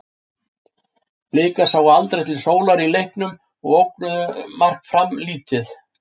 Blikar sáu aldrei til sólar í leiknum og ógnuðu mark Fram lítið.